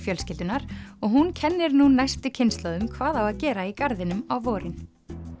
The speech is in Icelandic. fjölskyldunnar og hún kennir nú næstu kynslóðum hvað á að gera í garðinum á vorin